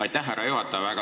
Aitäh, härra juhataja!